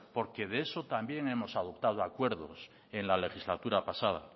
porque de eso también hemos adoptado acuerdos en la legislatura pasada